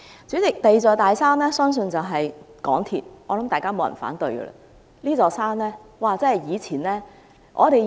主席，第二座"大山"相信就是港鐵公司，我相信大家不會反對。